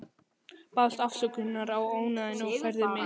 Baðst afsökunar á ónæðinu og færði mig.